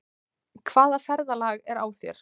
Hvaða ferðalag er á þér?